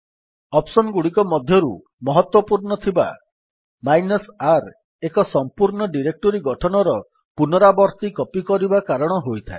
option ଗୁଡିକ ମଧ୍ୟରୁ ମହତ୍ୱପୂର୍ଣ୍ଣ ଥିବା -R ଏକ ସମ୍ପୂର୍ଣ୍ଣ ଡିରେକ୍ଟୋରୀ ଗଠନର ପୂନରାବର୍ତ୍ତୀ କପୀ କରିବା କାରଣ ହୋଇଥାଏ